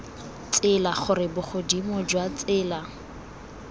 tsela gore bogodimo jwa tsela